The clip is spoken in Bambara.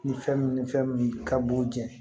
Ni fɛn min ni fɛn min ka b'o jɛn